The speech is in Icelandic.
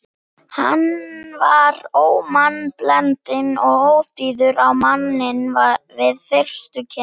Hann var ómannblendinn og óþýður á manninn við fyrstu kynni.